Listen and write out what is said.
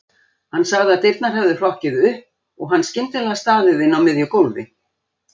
Hann sagði að dyrnar hefðu hrokkið upp og hann skyndilega staðið inni á miðju gólfi.